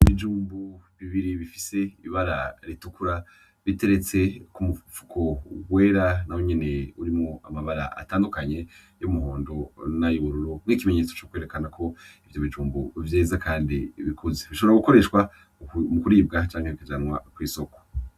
Ibijumbu bibiri bifise ibara ritukura biteretse ko umupfuko uwera na wenyeneye urimo amabara atandukanye y'umuhondo n'ayururo nk'ikimenyetso cokwerekana ko ivyo bijumbu vyeza, kandi bikuze bishobora gukoreshwa mu kuribwa cankwe kujanwa kw'isoko.